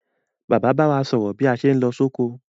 Bàbá ba wa sòrò bí a sé n lo sóko